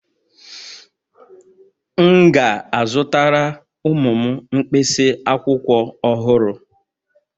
M ga-azụtara ụmụ m mkpịsị akwụkwọ ọhụrụ